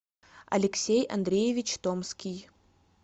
алексей андреевич томский